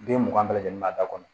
Den mugan bɛɛ lajɛlen ma a da kɔnɔ